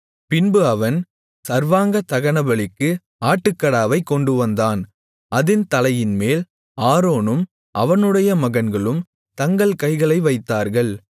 பின்பு அவன் சர்வாங்க தகனபலிக்கு ஆட்டுக்கடாவைக் கொண்டுவந்தான் அதின் தலையின்மேல் ஆரோனும் அவனுடைய மகன்களும் தங்கள் கைகளை வைத்தார்கள்